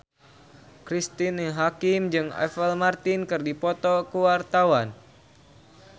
Cristine Hakim jeung Apple Martin keur dipoto ku wartawan